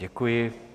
Děkuji.